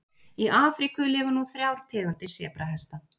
Í Afríku lifa nú þrjár tegundir sebrahesta.